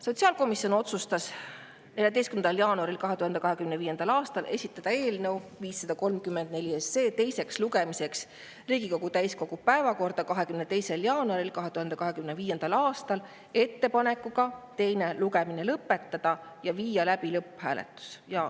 Sotsiaalkomisjon otsustas 14. jaanuaril 2025. aastal esitada eelnõu 534 teiseks lugemiseks Riigikogu täiskogu päevakorda 22. jaanuaril 2025. aastal ettepanekuga teine lugemine lõpetada ja viia läbi lõpphääletus.